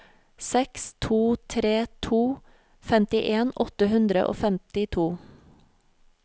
seks to tre to femtien åtte hundre og femtito